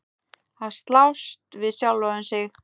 Að slást við sjálfan sig.